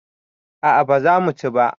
a a ba za mu ci ba